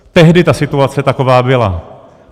Tehdy ta situace taková byla.